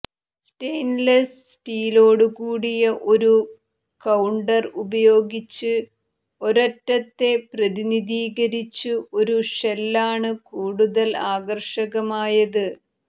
stainless സ്റ്റീലോടുകൂടിയ ഒരു counter ഉപയോഗിച്ച് ഒരൊറ്റത്തെ പ്രതിനിധീകരിച്ച് ഒരു ഷെല്ലാണ് കൂടുതൽ ആകർഷകമായത്